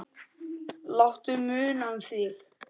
Láttu muna um þig.